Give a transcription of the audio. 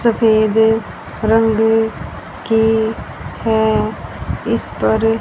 सफेद रंग की हैं इस पर--